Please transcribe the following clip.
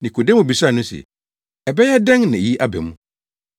Nikodemo bisaa no se, “Ɛbɛyɛ dɛn na eyi aba mu?”